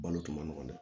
Balo tun ma nɔgɔn dɛ